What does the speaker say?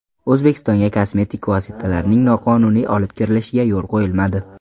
O‘zbekistonga kosmetik vositalarning noqonuniy olib kirilishiga yo‘l qo‘yilmadi.